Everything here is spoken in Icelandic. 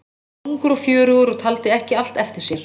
Hann var ungur og fjörugur og taldi ekki allt eftir sér.